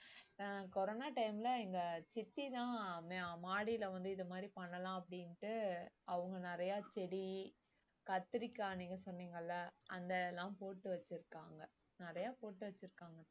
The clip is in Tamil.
அஹ் கொரோனா time ல எங்க சித்திதான் மா~ மாடில வந்து இது மாதிரி பண்ணலாம் அப்படின்ட்டு அவங்க நிறைய செடி கத்திரிக்காய் நீங்க சொன்னீங்கல்ல அந்த எல்லாம் போட்டு வச்சிருக்காங்க நிறைய போட்டு வச்சிருக்காங்க